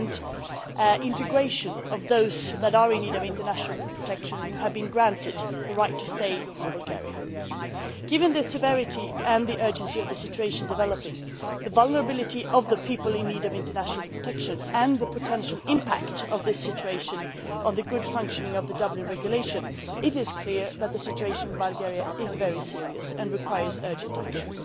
and integration of those people in need of international protection who have been granted the right to stay in Bulgaria. Given the severity and the urgency of the situation developing, the vulnerability of the people in need of international protection and the potential impact of this situation on the proper functioning of the Dublin Regulation, it is clear that the situation in Bulgaria is very serious and requires urgent action.